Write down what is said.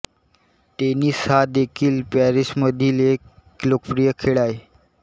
tennis हा देखील पॅरिसमधील एक लोकप्रिय खेळ आहे